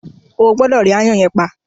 O gbúdọ̀ rí “aáyán” yẹn pa.